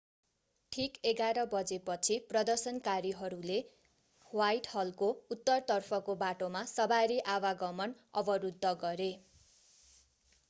ठिक 11:00 बजेपछि प्रदर्शनकारीहरूले ह्वाइटहलको उत्तरतर्फको बाटोमा सवारी आवागमन अवरुद्ध गरे